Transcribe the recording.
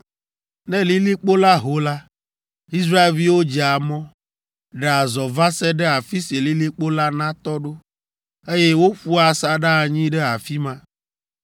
Ne lilikpo la ho la, Israelviwo dzea mɔ, ɖea zɔ va se ɖe afi si lilikpo la natɔ ɖo, eye woƒua asaɖa anyi ɖe afi ma.